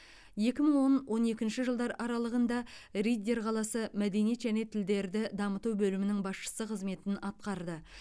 екі мың он он екінші жылдар аралығында риддер қаласы мәдениет және тілдерді дамыту бөлімінің басшысы қызметін атқарды